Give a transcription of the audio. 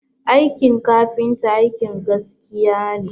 Aikin kafinta aikin gaskiya ne